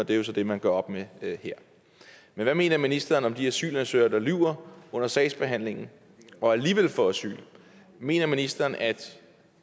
det er så det man gør op med her men hvad mener ministeren om de asylansøgere der lyver under sagsbehandlingen og alligevel får asyl mener ministeren at